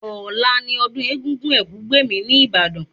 Ọ̀la ni ọdún Egúngún Ẹ̀kúgbèmí ní Ìbàdàn